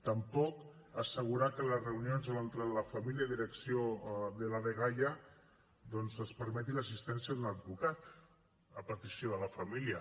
tampoc assegurar que a les reunions entre la família i direcció de la dgaia doncs es permeti l’assistència d’un advocat a petició de la família